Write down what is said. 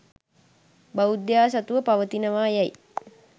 බෞද්ධයා සතුව පවතිනවා යයි